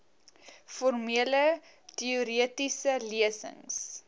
formele teoretiese lesings